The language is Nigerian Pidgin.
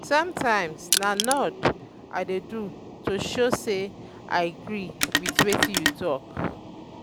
sometimes na nod um i dey do to show sey i agree wit wetin you talk.